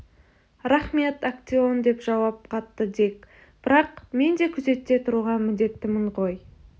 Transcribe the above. рақмет актеон деп жауап қатты дик бірақ мен де күзетте тұруға міндеттімін ғой